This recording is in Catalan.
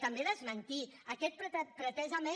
també desmentir aquest pretesament